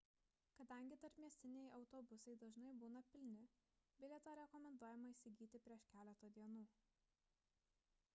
kadangi tarpmiestiniai autobusai dažnai būna pilni bilietą rekomenduojama įsigyti prieš keletą dienų